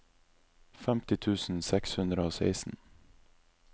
femti tusen seks hundre og seksten